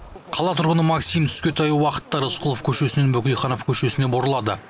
қала тұрғыны максим түске таяу уақытта рысқұлов көшесінен бөкейханов көшесіне бұрылады